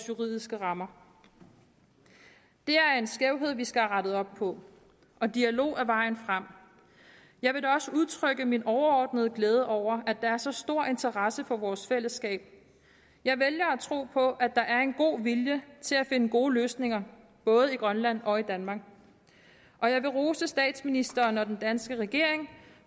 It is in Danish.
juridiske rammer det er en skævhed vi skal have rettet op på og dialog er vejen frem jeg vil da også udtrykke min overordnede glæde over at der er så stor interesse for vores fællesskab jeg vælger at tro på at der er en god vilje til at finde gode løsninger både i grønland og i danmark og jeg vil rose statsministeren og den danske regering